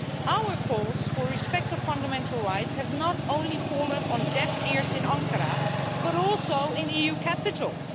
Our calls for respect of fundamental rights have not only fallen on deaf ears in Ankara, but also in EU capitals.